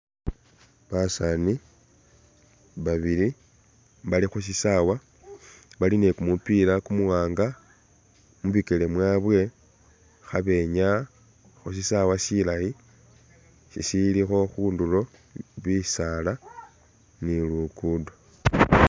Basaani babili bali khushisaawa bali ne kumupila kumuwanga, mubikele mwabwe khabenyaya khusisawa silayi sisilikho khundulo bisaala ne lugudo.